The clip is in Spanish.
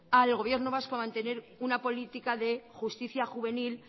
al gobierno vasco a mantener una política de justicia juvenil